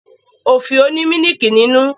Ofio ni mílìkí ninu.